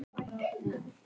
Hvað eru þeir að tala um?